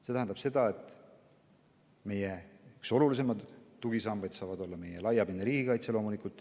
See tähendab, et meie üks olulisemaid tugisambaid on meie laiapindne riigikaitse.